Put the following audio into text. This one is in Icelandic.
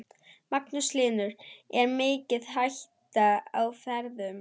Magnús Hlynur: Er mikil hætta á ferðum?